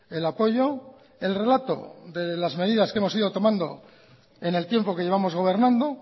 el apoyo el relato de las medidas que hemos ido tomando en el tiempo que llevamos gobernando